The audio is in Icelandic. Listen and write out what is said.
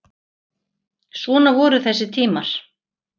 Svona voru þessi tímar.